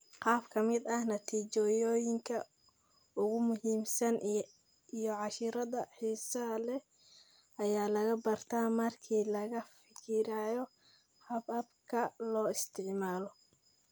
Qaar ka mid ah natiijooyinka ugu muhiimsan iyo casharrada xiisaha leh ayaa laga bartay markii laga fikiray hababka loo isticmaalo.